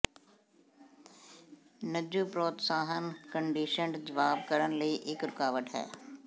ਨ੍ਯੂ ਪ੍ਰੋਤਸਾਹਨ ਕੰਡੀਸ਼ਨਡ ਜਵਾਬ ਕਰਨ ਲਈ ਇੱਕ ਰੁਕਾਵਟ ਹੈ